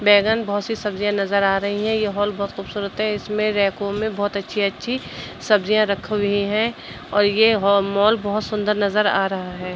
बैंगन बोहोत सी सब्जियां नजर आ रही हैं। ये हॉल बोहोत खूबसूरत है। इसमें रैकों में बोहोत अच्छी-अच्छी सब्जियां रख हुई हैं और ये हो मॉल बोहोत सुंदर नजर आ रहा है।